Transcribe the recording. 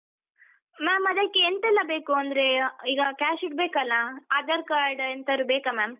Ma’am ಅದಕ್ಕೆ ಎಂತೆಲ್ಲ ಬೇಕು ಅಂದ್ರೆ ಈಗ cash ಇಡ್ಬೇಕಲ್ಲಾ, Aadhar card ಎಂತಾರು ಬೇಕ ma’am ?